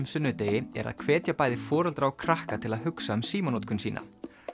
sunnudegi er að hvetja bæði foreldra og krakka til að hugsa um símanotkun sína